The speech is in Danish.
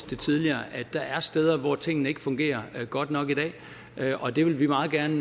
det tidligere at der er steder hvor tingene ikke fungerer godt nok og det vil vi meget gerne